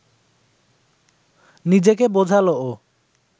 নিজেকে বোঝাল ও